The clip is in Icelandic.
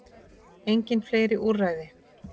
Engin fleiri úrræði